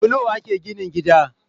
Da bulo ake ginin gida